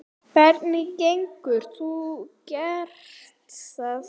Hvernig getur þú gert það?